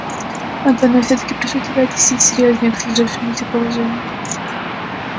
антон я всё-таки попрошу тебя отнестись серьёзнее к сложившемуся положению